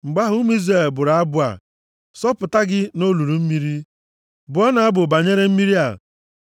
Mgbe ahụ, ụmụ Izrel bụrụ abụ a. “Sọpụta gị olulu mmiri! Bụọnụ abụ banyere mmiri a!